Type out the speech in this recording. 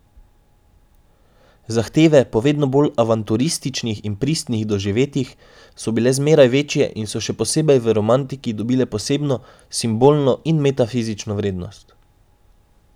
Zahteve po vedno bolj avanturističnih in pristnih doživetjih so bile zmeraj večje in so še posebej v romantiki dobile posebno, simbolno in metafizično vrednost.